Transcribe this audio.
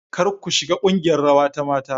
Kar ku shiga kungiyar rawa ta mata.